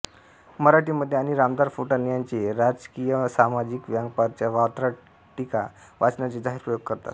मराठी मध्ये आणि रामदार फुटाणे यांचे राजकीयसामाजिक व्यंग्यपर वात्रटिका वाचनाचे जाहीर प्रयोग करततात